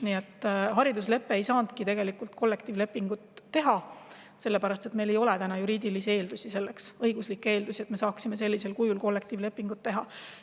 Nii et haridusleppe raames ei saanudki tegelikult kollektiivlepingut teha, sellepärast et meil ei ole täna juriidilisi ja õiguslikke eeldusi selleks, et me saaksime kollektiivlepingut sellisel kujul teha.